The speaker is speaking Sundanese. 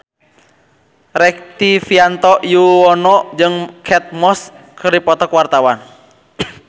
Rektivianto Yoewono jeung Kate Moss keur dipoto ku wartawan